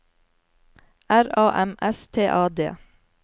R A M S T A D